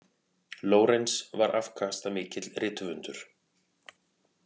Lorenz var afkastamikill rithöfundur.